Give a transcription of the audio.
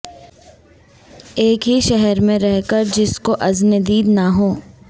ایک ہی شہر میں رہ کر جس کو اذن دید نہ ہو